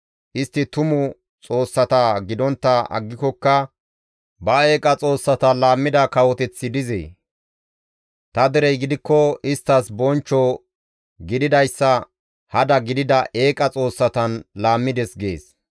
Istti tumu xoossata gidontta aggikokka ba eeqa xoossata laammida kawoteththi dizee? Ta derey gidikko isttas bonchcho gididayssa hada gidida eeqa xoossatan laammides» gees.